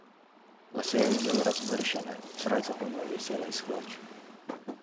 Lase je imel razmršene, srajca pa mu je visela iz hlač.